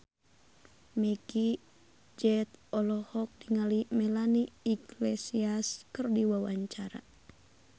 Meggie Z olohok ningali Melanie Iglesias keur diwawancara